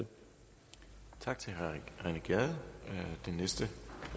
der til leje så